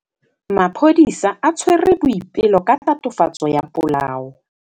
Maphodisa a tshwere Boipelo ka tatofatsô ya polaô.